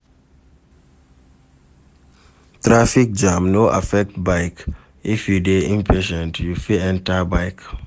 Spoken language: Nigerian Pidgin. Traffic jam no affect bike if you de impatient you fit enter bike